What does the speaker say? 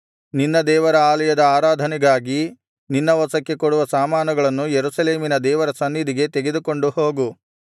ನಿನ್ನ ದೇವರ ಆಲಯದ ಆರಾಧನೆಗಾಗಿ ನಿನ್ನ ವಶಕ್ಕೆ ಕೊಡುವ ಸಾಮಾನುಗಳನ್ನು ಯೆರೂಸಲೇಮಿನ ದೇವರ ಸನ್ನಿಧಿಗೆ ತೆಗೆದುಕೊಂಡು ಹೋಗು